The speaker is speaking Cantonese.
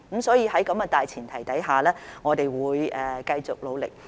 所以，在這個大前提下，我們會繼續努力。